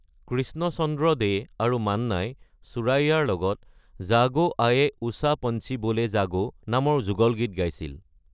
কৃষ্ণচন্দ্ৰ দে আৰু মান্নাই সুৰাইয়াৰ লগত “জাগো আয়ে উষা পঞ্চি বোলে জাগো” নামৰ যুগল গীত গাইছিল।